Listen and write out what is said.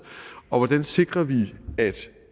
hvordan sikrer vi at